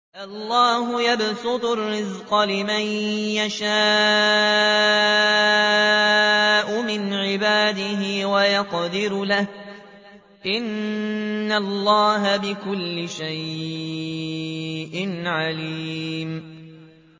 اللَّهُ يَبْسُطُ الرِّزْقَ لِمَن يَشَاءُ مِنْ عِبَادِهِ وَيَقْدِرُ لَهُ ۚ إِنَّ اللَّهَ بِكُلِّ شَيْءٍ عَلِيمٌ